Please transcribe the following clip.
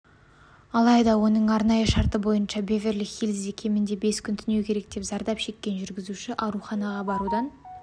алайда оның арнайы шарты бойынша беверли-хиллзде кемінде бес күн түнеу керек зардап шеккен жүргізуші ауруханаға барудан